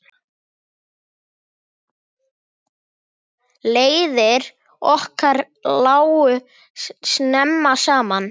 Leiðir okkar lágu snemma saman.